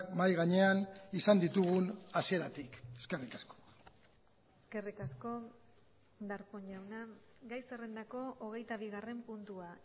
mahai gainean izan ditugun hasieratik eskerrik asko eskerrik asko darpón jauna gai zerrendako hogeitabigarren puntua